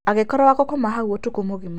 Akĩkorwo wa gũkoma hau ũtukũ mũgima.